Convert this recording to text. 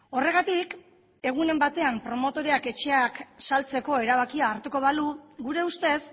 horregatik egunen batean promotoreak etxeak saltzeko erabakia hartuko balu gure ustez